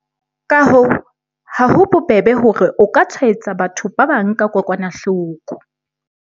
Ka hoo, ha ho bobebe hore o ka tshwaetsa batho ba bang ka kokwanahloko.